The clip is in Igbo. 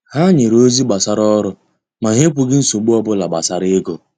Ha nyere ozi gbasara ọrụ, ma ha ekwughị nsogbu obula gbasara ego.